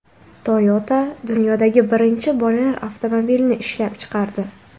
Toyota dunyodagi birinchi bolalar avtomobilini ishlab chiqardi.